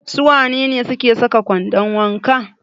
Su wane ne suke saka kwandon wanka?